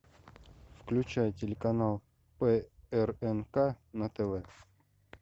включай телеканал прнк на тв